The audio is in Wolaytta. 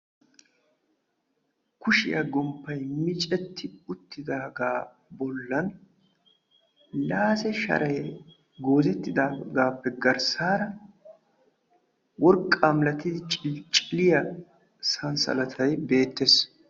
Kushiyaa gomppay miccetti uttidaga bollan daase sharay goozettidagappe garssaara worqqa milatidi cilcciliya sansalatay beettees.